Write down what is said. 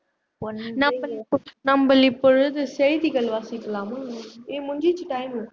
இப்பொழுது செய்திகள் வாசிக்கலாமா ஏய் முடிஞ்சிடுச்சு time